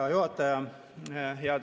Hea juhataja!